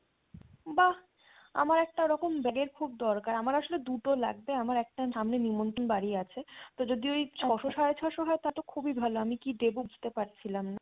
বাহ আমার একটা ওইরকম bag এর খুব দরকার আমার আসলে দুটো লাগবে আমার একটা সামনে নেমন্তন বাড়ি আছে তো যদি ওই ছয়শ সাড়ে ছয়শ হয় তাহলে খুবই ভালো আমি কী দেবো বুঝতে পারছিলাম না।